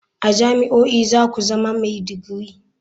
A jami'o'i za ku zama mai digiri.